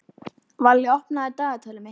Valli, opnaðu dagatalið mitt.